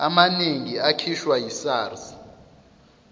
amaningi akhishwa yisars